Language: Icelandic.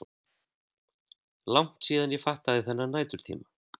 Langt síðan ég fattaði þennan næturtíma.